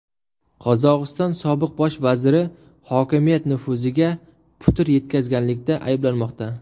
Qozog‘iston sobiq bosh vaziri hokimiyat nufuziga putur yetkazganlikda ayblanmoqda.